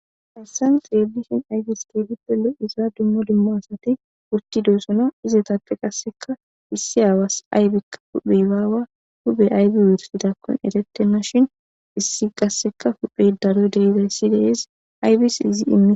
harsan xrelishen ayfis teebippe loza dumma dumma asati wurti desona izetappe qasseka missi aawas aybikka huphe baawa hube aybi wursidakkon erettenna shin issi gasseka huphey daloy deizayssidees aybis izi immi